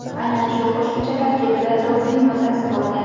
Aynan shu qo‘shimcha tarkibida doping moddasi bo‘lgan.